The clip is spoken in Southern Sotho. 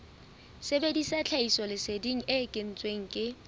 sebedisa tlhahisoleseding e kentsweng ke